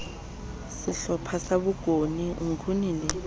sehlopha sa bokone nguni le